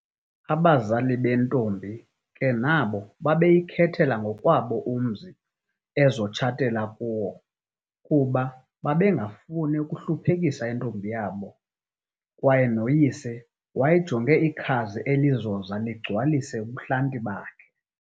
Abazali bentombi kenabo babeyikhethela ngokwabo umzi azotshatela kuwo, kuba babengafuni ukuhluphekisa intombi yabo kwaye noYise wayejonge iikhazi elizoza ligcwalise ubuhlanti bakhe,